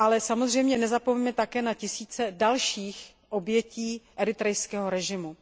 Samozřejmě nezapomínejme na tisíce dalších obětí eritrejského režimu.